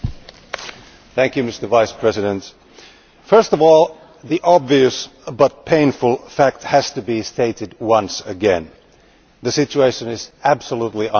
Mr President, first of all, the obvious but painful fact has to be stated once again the situation is absolutely unbearable.